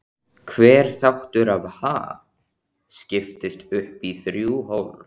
Hver þáttur af Ha? skiptist upp í þrjú hólf.